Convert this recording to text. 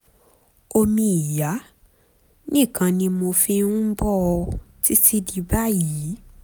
omi ìyá nìkan ni mo fi ń bọ́ ọ títí di báyìí